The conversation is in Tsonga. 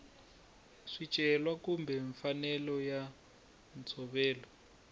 swicelwa kumbe mfanelo ya ntshovelo